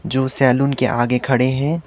जो सैलून के आगे खड़े हैं।